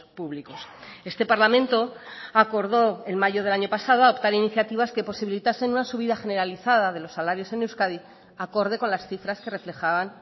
públicos este parlamento acordó en mayo del año pasado adoptar iniciativas que posibilitasen una subida generalizada de los salarios en euskadi acorde con las cifras que reflejaban